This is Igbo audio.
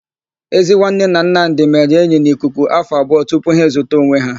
Ezinwanne na Nnamdị mere enyi n'ikuku afọ abụọ tupu ha ezuta onwe ha.